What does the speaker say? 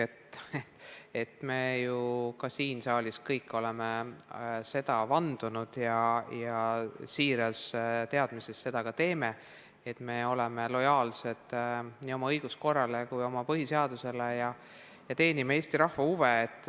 Kõik me siin saalis oleme selle kohta vande andnud ja siiras teadmises seda ka järgime, oleme lojaalsed nii oma õiguskorrale kui ka põhiseadusele ja teenime Eesti rahva huve.